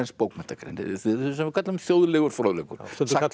bókmenntagrein sem við köllum þjóðlegur fróðleikur stundum kallað